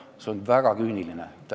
Olukord on väga küüniline.